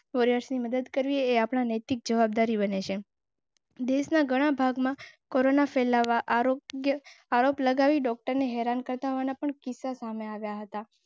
ની મદદ કરવી એ આપણી નૈતિક જવાબદારી બને છે. દેશના ઘણાં ભાગમાં કોરોના ફેલાવા આરોપ લગાવીને હેરાન કરતા હોવાના પણ કિસ્સા.